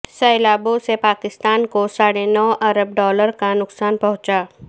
سیلابوں سے پاکستان کو ساڑھے نو ارب ڈالر کا نقصان پہنچا